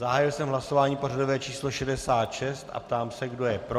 Zahájil jsem hlasování pořadové číslo 66 a ptám se, kdo je pro?